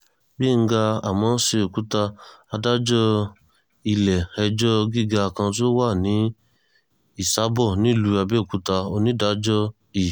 gbẹ̀ngà àmó̩s̩e̩ò̩kúta adájọ́ ilé̩-ẹjọ́ gíga kan tó wà ní ìs̩àbò nílùú àbẹ́òkúta onídàájọ́ i